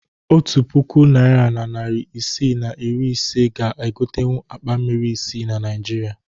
Otu puku naịra na narị isii na iri ise ga egotenwu akpa mmiri isii na Naịjirịa